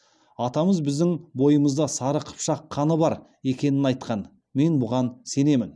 атамыз біздің бойымызда сары қыпшақ қаны бар екенін айтқан мен бұған сенемін